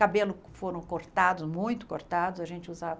Cabelo foram cortados, muito cortados, a gente usava...